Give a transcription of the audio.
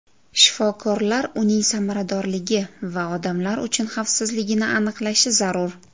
Shifokorlar uning samaradorligi va odamlar uchun xavfsizligini aniqlashi zarur.